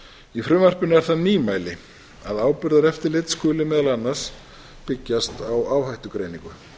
í frumvarpinu er það nýmæli að áburðareftirlit skuli meðal annars byggjast á áhættugreiningu